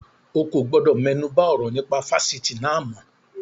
O kò gbọdọ̀ mẹ́nuba ọ̀rọ̀ nípa Fásitì náà mọ́.